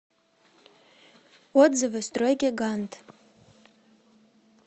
отзывы стройгигант